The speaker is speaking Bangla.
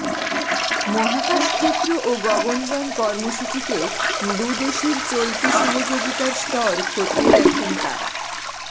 মহাকাশ ক্ষেত্র ও গগনযান কর্মসূচিতে দুদেশের চলতি সহযোগিতার স্তর খতিয়ে দেখেন তাঁরা